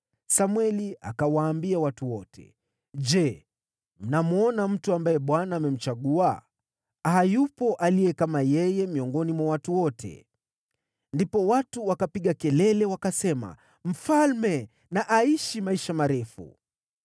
Samweli akawaambia watu wote, “Je, mnamwona mtu ambaye Bwana amemchagua? Hayupo aliye kama yeye miongoni mwa watu wote.” Ndipo watu wakapiga kelele, wakasema, “Mfalme na aishi maisha marefu.”